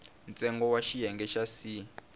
ntsengo wa xiyenge xa c